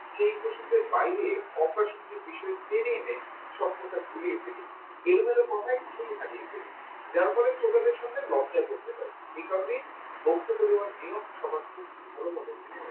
সেই প্রসঙ্গের বাইরে অপ্রাসঙ্গিক বিষয়ে ট্রেনে এনে সব কথা গুলিয়ে ফেলি এলোমেলো কথায় theme হারিয়ে ফেলি যার ফলে শ্রোতাদের সামনে লজ্জায় পড়তে হয় এই কারণে বক্তব্য দেবার নিয়ম ভালো